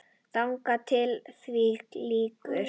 Þangað til því lýkur.